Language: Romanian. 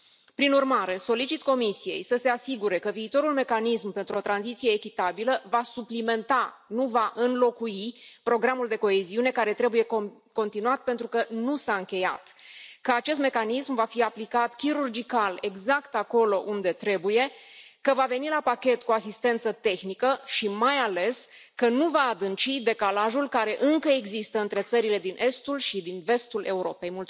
Prin urmare, solicit Comisiei să se asigure că viitorul mecanism pentru o tranziție echitabilă va suplimenta, nu va înlocui, Programul de coeziune, care trebuie continuat pentru că nu s a încheiat, că acest mecanism va fi aplicat chirurgical exact acolo unde trebuie, că va veni la pachet cu asistență tehnică și, mai ales, că nu va adânci decalajul care încă există între țările din estul și din vestul Europei.